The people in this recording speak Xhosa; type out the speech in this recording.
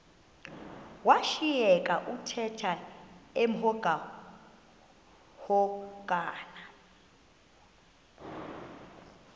washiyeka uthemba emhokamhokana